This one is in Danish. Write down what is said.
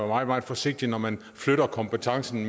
meget meget forsigtig når man flytter kompetencen